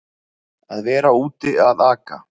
Að vera úti að aka